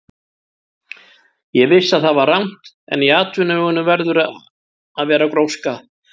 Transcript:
Ég vissi að það var rangt, en í atvinnuvegunum verður að vera gróska.